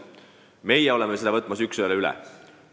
Meie võtame selle üks ühele üle.